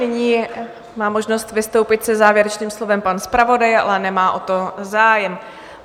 Nyní má možnost vystoupit se závěrečným slovem pan zpravodaj, ale nemá o to zájem.